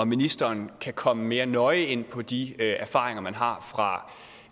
ministeren kan komme mere nøje ind på de erfaringer man har fra